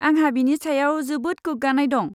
आंहा बिनि सायाव जोबोद गोग्गानाय दं।